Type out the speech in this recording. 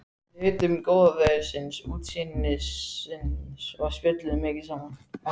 Við nutum góða veðursins, útsýnisins og spjölluðum mikið saman.